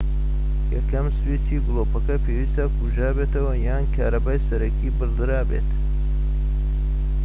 یەکەم سویچی گلۆپەکە پێویستە کوژابێتەوە یان کارەبای سەرەکی بڕدرابێت